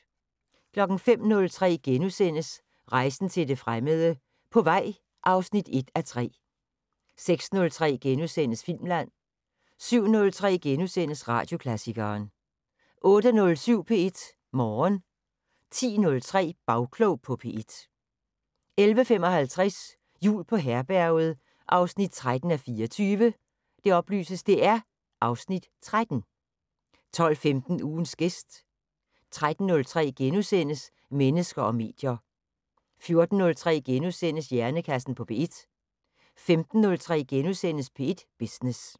05:03: Rejsen til det fremmede: På vej (1:3)* 06:03: Filmland * 07:03: Radioklassikeren * 08:07: P1 Morgen 10:03: Bagklog på P1 11:55: Jul på Herberget 13:24 (Afs. 13) 12:15: Ugens gæst 13:03: Mennesker og medier * 14:03: Hjernekassen på P1 * 15:03: P1 Business *